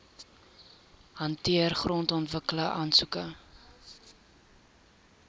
hanteer grondontwikkeling aansoeke